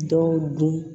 Dɔw dun